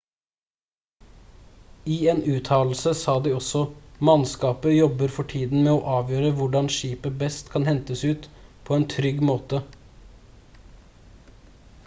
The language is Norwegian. i en uttalelse sa de også: «mannskapet jobber for tiden med å avgjøre hvordan skipet best kan hentes ut på en trygg måte»